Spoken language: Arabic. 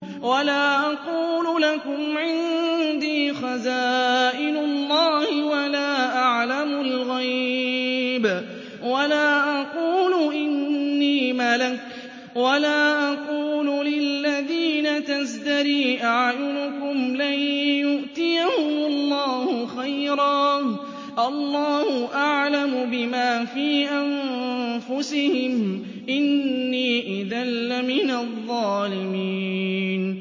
وَلَا أَقُولُ لَكُمْ عِندِي خَزَائِنُ اللَّهِ وَلَا أَعْلَمُ الْغَيْبَ وَلَا أَقُولُ إِنِّي مَلَكٌ وَلَا أَقُولُ لِلَّذِينَ تَزْدَرِي أَعْيُنُكُمْ لَن يُؤْتِيَهُمُ اللَّهُ خَيْرًا ۖ اللَّهُ أَعْلَمُ بِمَا فِي أَنفُسِهِمْ ۖ إِنِّي إِذًا لَّمِنَ الظَّالِمِينَ